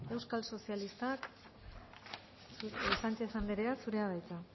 anderea euskal sozialistak sánchez anderea zurea da hitza